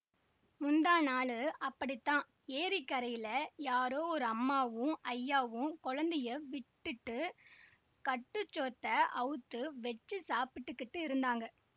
முந்தாநாளு அப்படித்தான்ஏரிக் கரையில யாரோ ஒரு அம்மாவும் ஐயாவும் கொழந்தையை விட்டுட்டு கட்டுச்சோத்தை அவுத்து வெச்சிச் சாப்பிட்டுக்கிட்டு இருந்தாங்க